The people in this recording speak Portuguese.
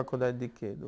Faculdade de quê?